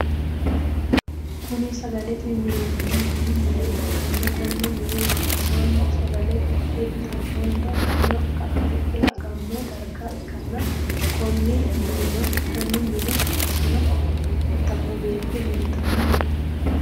Kunni sagalete minenna bunu mine ikanna Konne mine Manu sagale hidhe itanonna bunna hedhe agano darga ikanna konne minne bunna hirtanno beetto leeltanni no.